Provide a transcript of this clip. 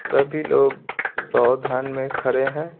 सभी लोग सावधान में खड़े हैं।